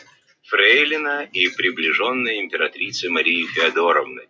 фрейлина и приближенная императрицы марии фёдоровны